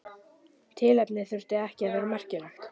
Tilefnið þurfti ekki að vera merkilegt.